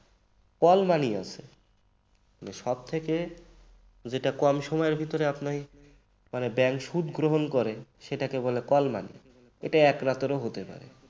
call money ও আছে সব থেকে যেটা কম সময়ের মধ্যে আপনাকে bank সুদ গ্রহণ করে সেটাকে বলে call market । এটা এক রাতেরও হতে পারে